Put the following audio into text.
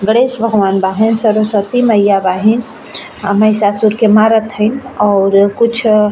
गणेश भगवान बाहे सरस्वती मइया बाहिन महिसा सुर के मारा थईंन और कुछ अ --